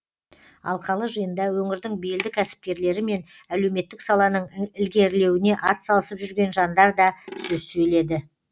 алқалы жиында өңірдің белді кәсіпкерлері мен әлеуметтік саланың ілгерілеуіне атсалысып жүрген жандар да сөз сөйледі